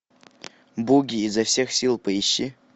буги изо всех сил поищи